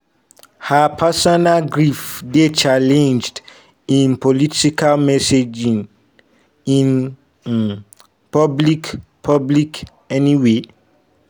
her personal grief dey channelled into political messaging in um public public anyway.